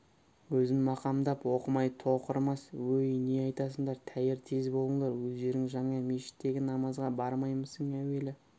өзін мақамдап оқымай тоқырамас өй не айтасыңдар тәйір тез болыңдар өздерің жаңа мешіттегі намазға бармаймысың әуелі